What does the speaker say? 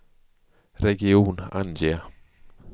region, ange